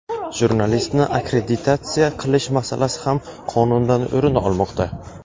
Jurnalistni akkreditatsiya qilish masalasi ham qonundan o‘rin olmoqda.